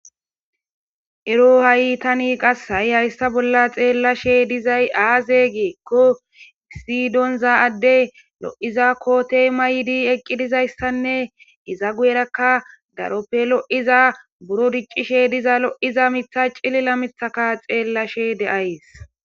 ero ha7itani qas hayi hayssa bolla xeellashe dizay aaze geekko siydonza adde lo7iza kootey maydi eqqi dizayssanne iza gu7erakka daroppe lo7iza buro diccishe diza lo7iza mitha cilila mithaka xeellashe deays